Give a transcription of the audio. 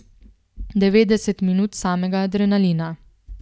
Devetdeset minut samega adrenalina.